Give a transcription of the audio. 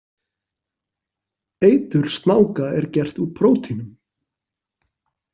Eitur snáka er gert úr prótínum.